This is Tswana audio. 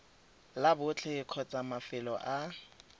la botlhe kgotsa mafelo a